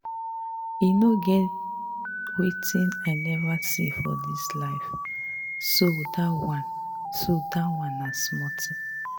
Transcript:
E no get wetin I never see for dis life so dat one so dat one na small thing